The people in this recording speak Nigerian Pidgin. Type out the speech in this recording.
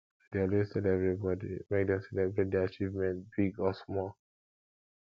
i dey always tell everybody make dem celebrate dia achievements big or small